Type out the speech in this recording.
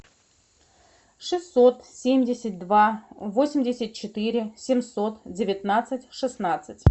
шестьсот семьдесят два восемьдесят четыре семьсот девятнадцать шестнадцать